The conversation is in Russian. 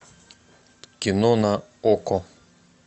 кино на окко